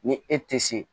Ni e tɛ se